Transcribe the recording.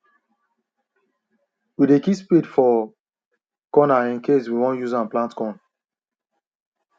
we dey keep spade for corner incase we won use am plant corn